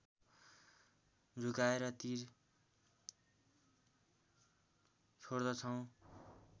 झुकाएर तीर छोड्दछौँ